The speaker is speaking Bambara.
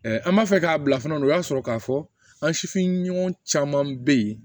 an b'a fɛ k'a bila fana o y'a sɔrɔ k'a fɔ an sifin ɲɔgɔn caman bɛ yen